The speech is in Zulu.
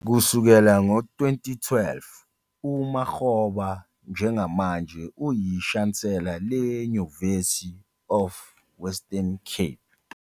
Kusukela ngo-2012, uMakgoba njengamanje uyishansela le-University of the Western Cape.